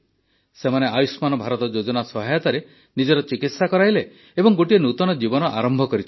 ସେମାନେ ଆୟୁଷ୍ମାନ ଭାରତ ଯୋଜନା ସହାୟତାରେ ନିଜର ଚିକିତ୍ସା କରାଇଲେ ଏବଂ ଗୋଟିଏ ନୂତନ ଜୀବନ ଆରମ୍ଭ କରିଛନ୍ତି